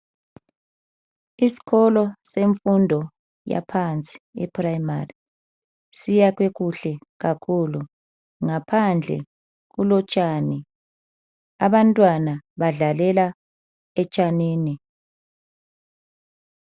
Isikolo sefundo yaphansi iprimary siyakhwe kuhle kakhulu ngaphandle kulotshani abantwana badlalela etshanini.